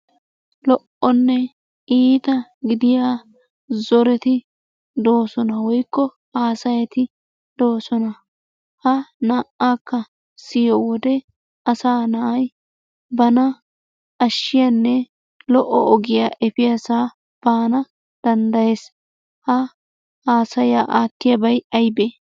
Lo"onne iita gidiya zoretii doosona woykko haasayati doosona. Ha naa"aakka siyiyo wode asaa na'ay bana ashshiyanne lo'o ogiya efiyasaa baana danddayees. Ha haasayaa aattiyabay aybee?